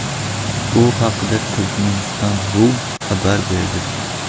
Bu haqda Turkmenistan.ru xabar berdi .